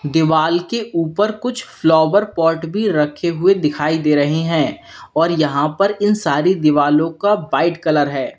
दीवाल के ऊपर कुछ फ्लावर पॉट भी रखे हुए दिखाई दे रहे हैं और यहां पर इन सारी दीवारों का वाइट कलर है।